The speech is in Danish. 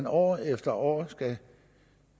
år efter år skal